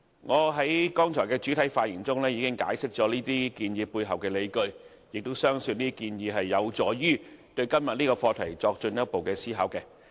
我在剛才的主體發言中已經解釋這些建議背後的理據，亦相信這些建議有助於對今天的議題作進一步思考。